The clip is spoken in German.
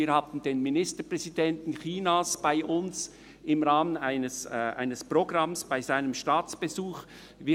Wir hatten den Ministerpräsidenten Chinas im Rahmen eines Programms bei seinem Staatsbesuch bei uns.